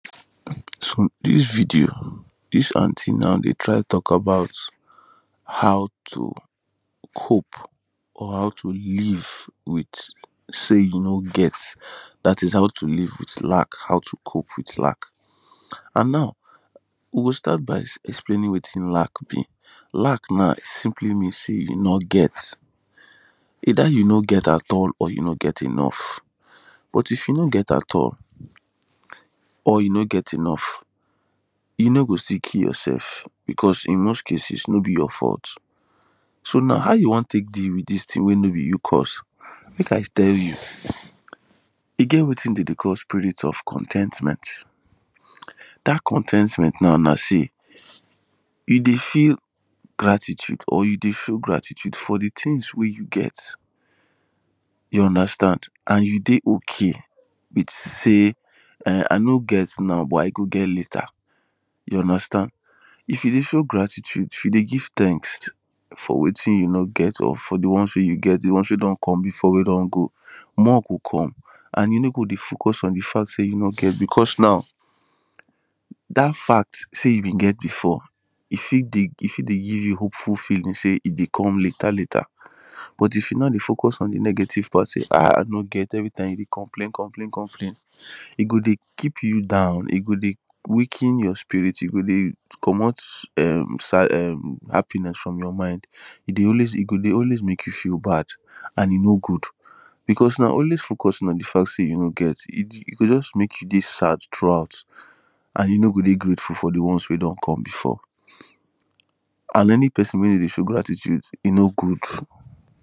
so this video =, this aunty dey try talk about how to cope an how to live with sey you no get that is how to live with lack, that is how to cope with lack. an now we go start by explaining wetin lack be na simply mean sey you no get whether you no get at all or you no get enough. but if you no get at all or you no get enough e no go still kill yourself because in most cases no be your no be your fault. so now how you wan take deal ith this thing wey no be you cause? make i tell you e get wetin dem dey call spirit of con ten tment that con ten tment now na feel. e dey feel gratitude or you dey show gratitude for the things wey you get you understand and you dey okay with sey erm i no get now but i go get later you understand. if you dey show gratitude, if you dey give thanks for wetin you no get an for the ones wey you get the one wey don come before an wey don go. more go come an you no go focus on the fact sey you no get because now that fact sey you been get before e fit dey give e fit dey give you hopeful feeling e dey come later later but if you no dey focus on the negative part sey arh i no get everytime you dey complain complain complain e go dey keep you down e go dey weaken your spirit e go dey comot erm happiness from your mind e go always dey make you feel bad an e no good bacause now na only focus on the fact sey you no get e go just make you dey sad throughtout an e no go dey grateful for the ones wey don come before an any person wey no dey show gratitude, e no good